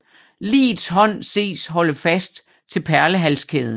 Ligets hånd ses holde fast til perlehalskæden